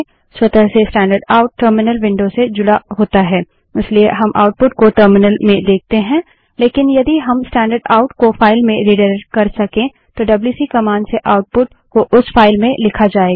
स्वतः से standard out terminal window से जुड़ा होता है इसलिए हम आउटपुट को टर्मिनल में देखते हैं लेकिन यदि हम स्टैंडर्ड आउट को फाइल में रिडाइरेक्ट कर सके तो डब्ल्यूसी कमांड से आउटपुट को उस फाइल में लिखा जायेगा